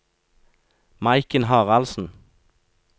Maiken Haraldsen